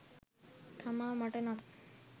තමා මට නම්